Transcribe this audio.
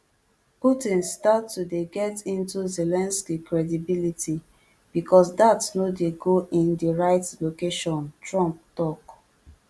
putin start to dey get into zelensky credibility because dat no dey go in di right location trump tok